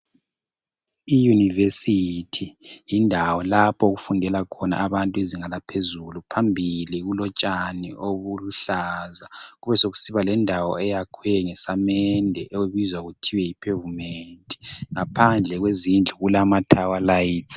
Iyunivesithi yindawo okufundela khona abantu imfundo yezinga eliphezulu. Phambili kulotshani obuluhlaza kusebesekusiba lendawo eyakhiwe ngesamende okubizwa kuthiwa yi pavement. Ngaphandle kwezindlu kulamatowerlights.